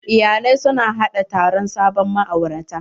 Iyalai su na haɗa taron sabon ma'aurata.